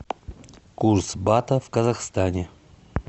курс бата в казахстане